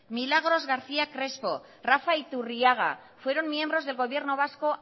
milagros garcía crespo rafa iturriaga fueron miembros del gobiernos vasco